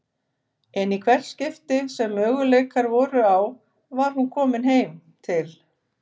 En í hvert skipti sem möguleikar voru á var hún komin heim til